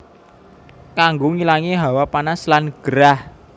Kanggo ngilangi hawa panas lan gerah